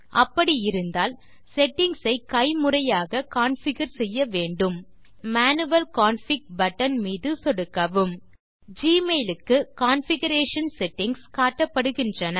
அப்படி இருந்தால் செட்டிங்ஸ் ஐ கைமுறையாக கான்ஃபிகர் செய்ய வேண்டும் இப்போது மேனுவல் கான்ஃபிக் பட்டன் மீது சொடுக்கவும் ஜிமெயில் க்கு கான்ஃபிகரேஷன் செட்டிங்ஸ் காட்டப்படுகின்றன